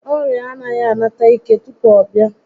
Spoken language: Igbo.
Ọrịa anaghị a nata ike tupu ọ bịa